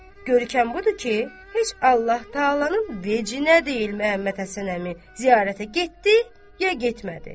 Görkəm budur ki, heç Allah təalanın vecində deyil Məhəmməd Həsən əmi ziyarətə getdi ya getmədi.